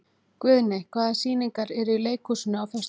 Guðni, hvaða sýningar eru í leikhúsinu á föstudaginn?